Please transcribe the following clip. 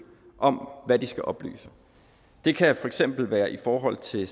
om hvad de skal oplyse det kan for eksempel være i forhold til